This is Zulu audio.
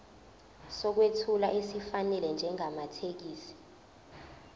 sokwethula esifanele njengamathekisthi